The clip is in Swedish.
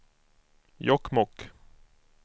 Jokkmokk